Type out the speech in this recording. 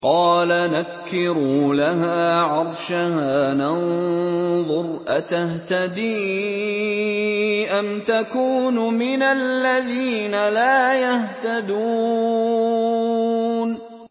قَالَ نَكِّرُوا لَهَا عَرْشَهَا نَنظُرْ أَتَهْتَدِي أَمْ تَكُونُ مِنَ الَّذِينَ لَا يَهْتَدُونَ